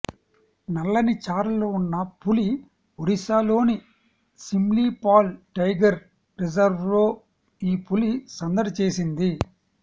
నల్లని చారలు ఉన్న పులి ఒడిశాలోని సిమ్లీపాల్ టైగర్ రిజర్వ్లో ఈ పులి సందడి చేసింది